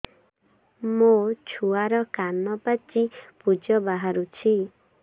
ମୋ ଛୁଆର କାନ ପାଚି ପୁଜ ବାହାରୁଛି